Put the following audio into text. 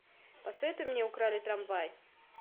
посоветуй мне украли трамвай